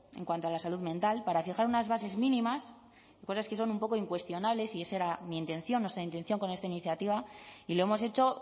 en cuanto a la salud mental para fijar unas bases mínimas y cosas que son un poco incuestionables y ese era mi intención nuestra intención con esta iniciativa y lo hemos hecho